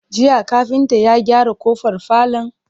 Jiya kafinta ya gyara kofar falon?